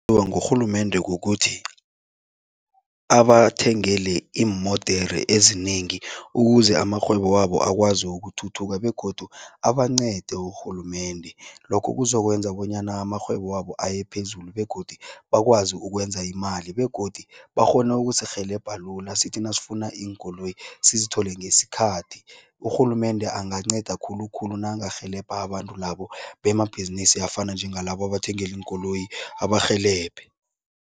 Awa, ngurhulumende kukuthi abathengele iimodere ezinengi ukuze amarhwebo wabo akwazi ukuthuthuka begodu abancede urhulumende. Lokho kuzokwenza bonyana amarhwebo wabo aye phezulu begodu bakwazi ukwenza imali begodu bakghone ukusirhelebha lula, sithi nasifuna iinkoloyi sizithole ngesikhathi. Urhulumende anganceda khulukhulu nakangarhelebha abantu labo bemabhizinisi afana njengalabo abathengele iinkoloyi, abarhelebhe.